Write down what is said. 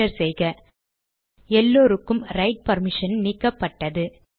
enter செய்க எல்லோருக்கும் right பர்மிஷனை நீக்கப்பட்டது